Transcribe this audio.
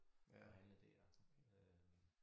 Og handle dér øh